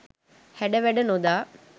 හැඩ වැඩ නොදා